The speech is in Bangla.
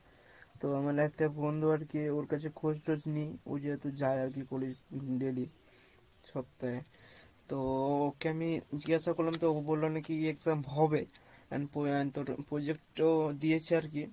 তো আমার একটা বন্ধু আরকি ওর কাছে খোঁজ টোজ নি ওই যেহেতু যাই আরকি college daily সপ্তাহে, তো ওকে আমি জিজ্ঞাসা করলাম তো ও বললো নাকি exam হবে তোর project ও দিয়েছে আর কী